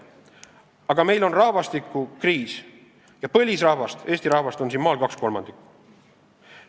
Aga meil on rahvastikukriis ja põlisrahvast, eesti rahvast, on siin maal kaks kolmandikku.